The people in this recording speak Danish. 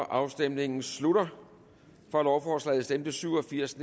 afstemningen slutter for stemte syv og firs